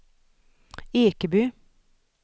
Ekeby